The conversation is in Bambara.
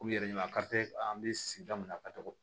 U yɛrɛ ɲina an bɛ sigida min na ka togo